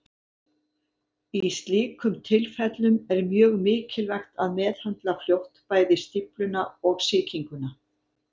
Í slíkum tilfellum er mjög mikilvægt að meðhöndla fljótt bæði stífluna og sýkinguna.